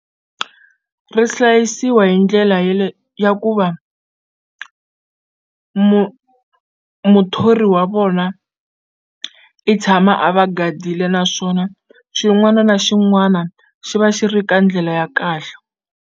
Ri hlayisiwa hi ndlela ye le ya ku va muthori wa vona i tshama a va gadile naswona xin'wana na xin'wana xi va xi ri ka ndlela ya kahle.